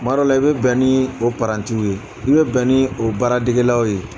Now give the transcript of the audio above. Kuma dɔ la i bɛ bɛn ni o parantiw ye i bɛ bɛn ni o baara degelaw ye.